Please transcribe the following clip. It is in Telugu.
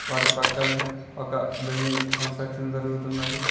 వాటి పక్కనే ఒక బిల్డింగ్ కన్స్ట్రక్షన్ జరుగుతున్నది.